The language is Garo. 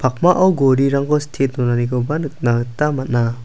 pakmao gorirangko sitte donanikoba nikna gita man·a.